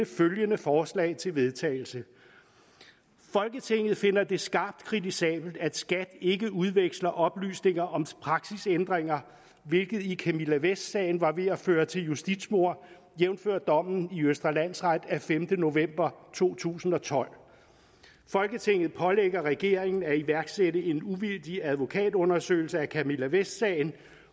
følgende forslag til vedtagelse folketinget finder det skarpt kritisabelt at skat ikke udveksler oplysninger om praksisændringer hvilket i camilla vest sagen var ved at føre til justitsmord jævnfør dommen i østre landsret af femte november to tusind og tolv folketinget pålægger regeringen at iværksætte en uvildig advokatundersøgelse af camilla vest sagen